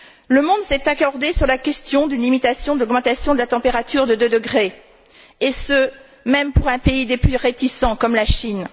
Le monde s'est accordé sur la question d'une limitation de l'augmentation de la température à deux degrés, et ce même pour un des pays les plus réticents comme la Chine.